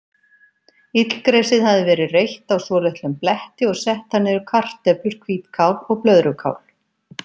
Illgresið hafði verið reytt á svolitlum bletti og sett þar niður kartöflur, hvítkál og blöðrukál.